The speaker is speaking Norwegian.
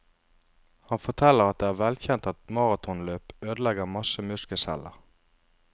Han forteller at det er velkjent at maratonløp ødelegger masse muskelceller.